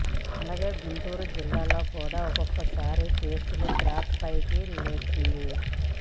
అలాగే గుంటూరు జిల్లాలో కూడా ఒక్కసారిగా కేసులు గ్రాఫ్ పైకి లేచింది